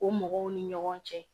O mɔgɔw ni ɲɔgɔn cɛ